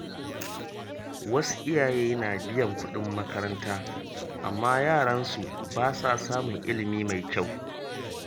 Wasu iyaye na biyan kuɗin makaranta amma yaran su ba sa samun ilimi mai kyau.